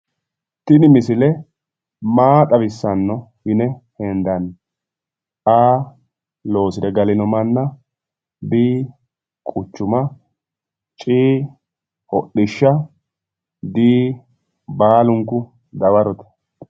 Tini misile maa xawissanno yine hendanni? A/loosire galinonmanna B/quchuma C/hodishsha D/baalunku dawarote